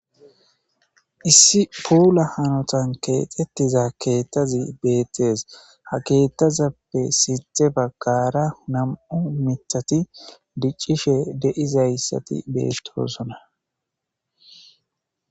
Issi puula hanotan keexxettiza keettazi beettees ha keettazappe sithe baggara nam'u mithati diccishe de'izayssati bettosona.